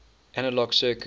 analog circuits